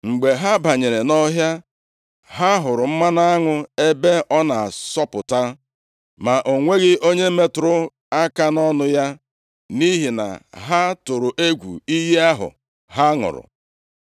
Mgbe ha banyere nʼọhịa, ha hụrụ mmanụ aṅụ ebe ọ na-asọpụta, ma o nweghị onye metụrụ aka nʼọnụ ya, nʼihi na ha tụrụ egwu iyi ahụ ha ṅụrụ.